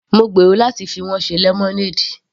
Mo gbèrò láti fi wọ́n ṣe lemonade.